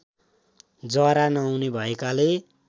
जरा नहुने भएकाले